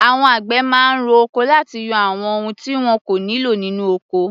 Àwọn àgbẹ̀ máa ń ro oko láti yọ àwọn ohun tí wọn kò nílò nínú ọkọ.